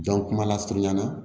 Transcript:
Jɔn kuma la surunya na